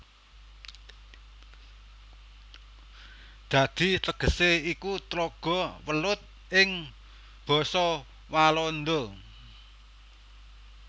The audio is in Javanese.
Dadi tegesé iku Tlaga Welut ing basa Walanda